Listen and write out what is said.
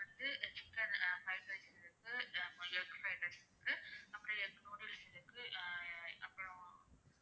வந்து chicken fried rice இருக்கு egg fried rice இருக்கு அப்பறம் egg noodles இருக்கு ஆஹ் அப்பறம்